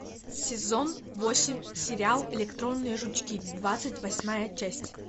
сезон восемь сериал электронные жучки двадцать восьмая часть